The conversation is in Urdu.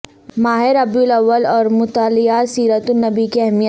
ماہ ربیع الاول اور مطالعہ سیرت النبی کی اہمیت